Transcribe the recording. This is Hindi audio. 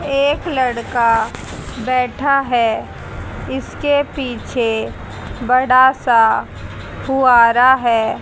एक लड़का बैठा है इसके पीछे बड़ा सा फुहारा है।